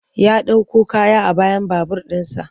Ya ɗauko kaya a bayan babur ɗinsa.